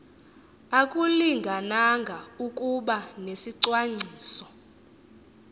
akulingananga ukuba nesicwangciso